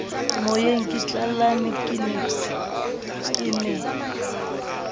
moyeng ke tlallane ke ne